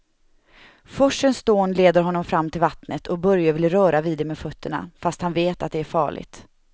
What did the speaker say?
Forsens dån leder honom fram till vattnet och Börje vill röra vid det med fötterna, fast han vet att det är farligt.